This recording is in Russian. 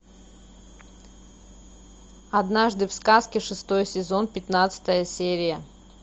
однажды в сказке шестой сезон пятнадцатая серия